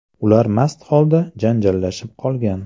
Ular mast holda janjallashib qolgan.